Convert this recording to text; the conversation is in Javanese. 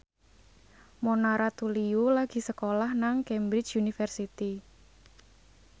Mona Ratuliu lagi sekolah nang Cambridge University